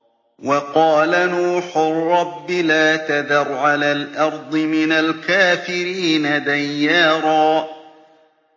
وَقَالَ نُوحٌ رَّبِّ لَا تَذَرْ عَلَى الْأَرْضِ مِنَ الْكَافِرِينَ دَيَّارًا